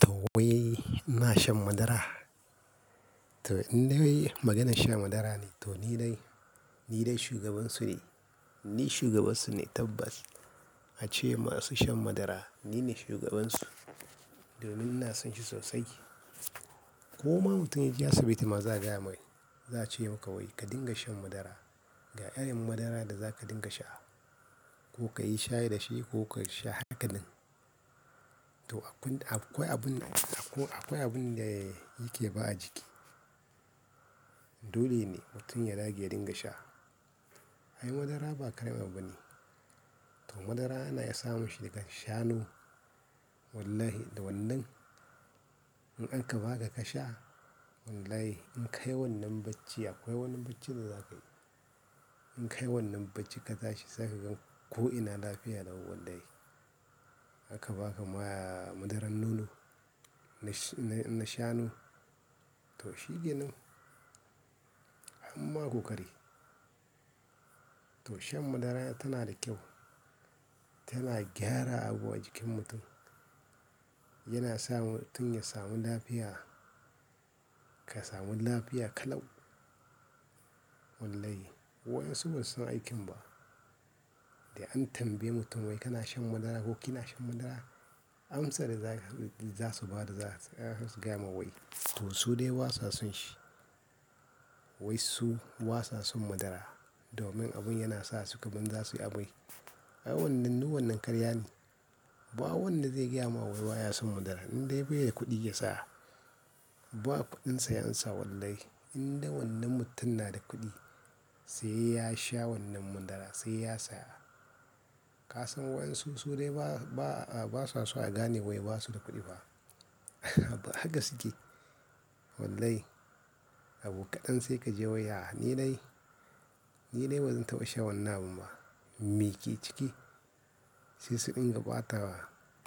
To wai ina shan madara. To in dai maganar shan madara ne to ni dai, ni dai shugabansu ne. Ni shugabansu ne tabbas. Ace masu shan madara ni ne shugabansu domin ina son shi sosai. Ko ma mutum ya je asibiti ma za gaya mai, za a ce masa wai ka dinga shan madara. Ga irin madaran da za ka dinga sha ko ka yi shayi da shi ko ka sha haka nan. To akwai abin, akwai abin da yake ba a jiki. Dole ne mutum ya dage ya dinga sha. Ai madara ba kawai bane. To madara yana sa mutum ya sha nu. Wallahi da wannan in aka ba ka ka sha, wallahi in ka yi wannan bacci akwai wannan bacci da za ka yi. In ka yi wannan bacci ka tashi za ka gan ko ina lafiya lau wallahi. Aka ba ka ma madaran nono na shanu to shikenan amma ko kare. To shan madara tana da kyau, tana gyara abu a jikin mutum. Yana sa mutum ya samu lafiya, ka samu lafiya ka lau. Wallahi waɗansu ba su san aikin ba. Da an tambaye mutum wai kana shan madara ko kina shan madara? Amsa da za su ba da za su gaya ma wai to su dai basa son shi. Wai su wasa sun madara domin abin yana sa su kamar za su yi amai. Ai wannan du wannan karya ne. Ba wanda zai gaya wa wai wa ya san madara in dai bai yi kuɗi ya saya. Ba kuɗinsa yansa wallahi. In dai wannan mutum na da kuɗi sai ya sha wannan madara sai ya saya. Ka san waɗansu su dai ba, ba, ba sa so a gane wai ba su da kuɗi ba. Haka suke. Wallahi abu kaɗan sai ka je wai ya ni dai, ni dai bazan taɓa sha wannan abun ba. Me ke ciki? Sai su ɗinka ɓatawa,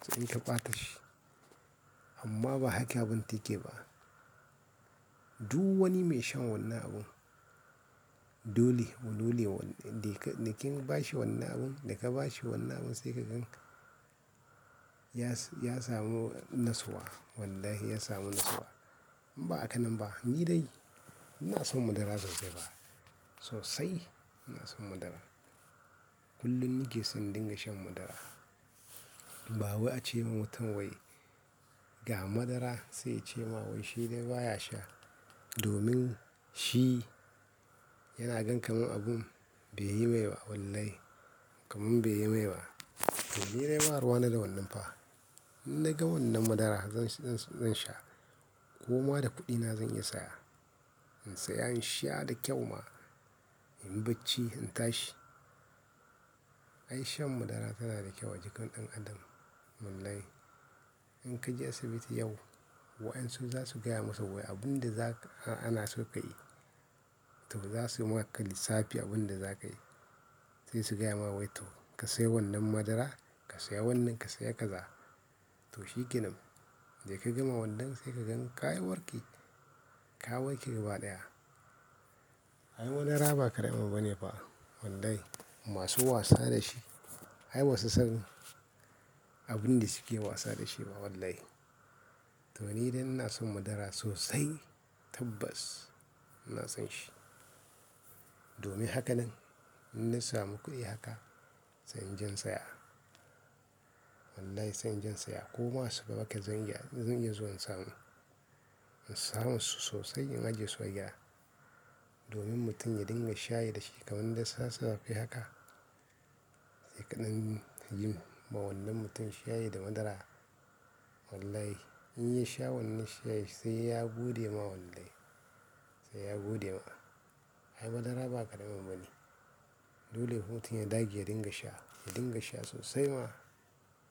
su ɗinka ɓata shi. Amma ba haka abun take ba. Duk wani mai shan wannan abun dole, dole wanda da kin ba shi wannan abun, da ka ba shi wannan abun sai ka gan ya ya samu nasuwa wallahi ya samu nasuwa. Ba haka nan ba ni dai ina son madara sosai. Sosai ina son madara. Kullum nake son dinga shan madara. Babu a ce ma mutum wai ga madara sai yace ma wai shi dai ba ya sha domin shi yana gan kamar abun bai yi mai ba wallahi. Kamar bai yi mai ba. To ni dai ba ruwana da wannan fa. To wai ina shan madara. Ko ma da kuɗina zan iya saya. To in dai maganar shan madara ne to ni dai, ni dai shugabansu ne. Ni shugabansu ne tabbas. In bacci in tashi. Ai shan madara tana da kyau a jikin ɗan adam. Wallahi in ka je asibiti yau waɗansu za su gaya masa wai abun da za ka, ana so ka yi. To za su maka lissafe abun da za ka yi. Sai su gaya ma wai to ka saya wannan madara, ka saya wannan, ka saya kaza. To shikenan. Da ka gama wannan sai ka gan ka warke. Ka warke gaba ɗaya. Ai madara ba karame bane fa wallahi. Masu wasa da shi. Ai ba su san abin da suke wasa da shi ba wallahi. To ni dai ina son madara sosai tabbas ina son shi. Domin haka nan in na samu kuɗi haka sai inje in saya. Wallahi sai inje in saya ko ma su raba ka zan iya, zan iya zuwa in samu. In samo su sosai in ajiye su a gida. Domin mutum ya dinga shayi da shi kamar da sassa fe haka. Sai kaɗan yin ba wannan mutum shayi da madara. Wallahi in ya sha wannan shayi sai ya gode ma wallahi. Sai ya gode ma. Ai madara ba karame bane. Dole mutum ya dage ya dinga sha, ya dinga sha sosai ma.